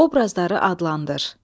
Obrazları adlandır.